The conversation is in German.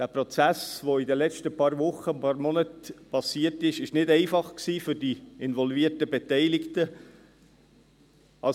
Der Prozess, der in den letzten paar Wochen und Monaten geschehen ist, war für die involvierten Beteiligten nicht einfach.